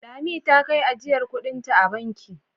Lami ta kai ajiyar kuɗinta a banki.